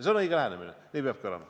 See on õige lähenemine ja nii peabki olema.